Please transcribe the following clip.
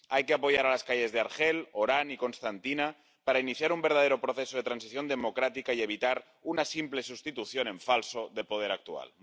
Hay que apoyar a las calles de Argel, Orán y Constantina para iniciar un verdadero proceso de transición democrática y evitar una simple sustitución en falso del poder actual.